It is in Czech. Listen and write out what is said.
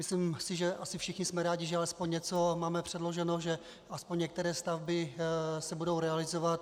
Myslím si, že asi všichni jsme rádi, že alespoň něco máme předloženo, že aspoň některé stavby se budou realizovat.